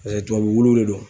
tubabu wulu de don.